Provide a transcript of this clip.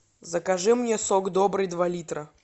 закажи мне сок добрый два литра